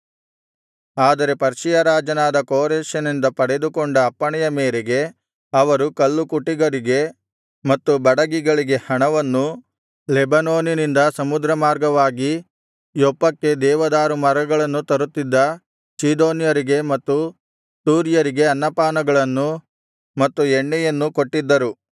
ಆದರೆ ಪರ್ಷಿಯ ರಾಜನಾದ ಕೋರೆಷನಿಂದ ಪಡೆದುಕೊಂಡ ಅಪ್ಪಣೆಯ ಮೇರೆಗೆ ಅವರು ಕಲ್ಲುಕುಟಿಗರಿಗೆ ಮತ್ತು ಬಡಗಿಗಳಿಗೆ ಹಣವನ್ನೂ ಲೆಬನೋನಿನಿಂದ ಸಮುದ್ರಮಾರ್ಗವಾಗಿ ಯೊಪ್ಪಕ್ಕೆ ದೇವದಾರು ಮರಗಳನ್ನು ತರುತ್ತಿದ್ದ ಚೀದೋನ್ಯರಿಗೆ ಮತ್ತು ತೂರ್ಯರಿಗೆ ಅನ್ನಪಾನಗಳನ್ನೂ ಮತ್ತು ಎಣ್ಣೆಯನ್ನೂ ಕೊಟ್ಟಿದ್ದರು